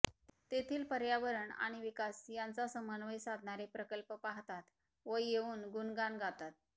तेथील पर्यावरण आणि विकास यांचा समन्वय साधणारे प्रकल्प पाहतात व येऊन गुणगान गातात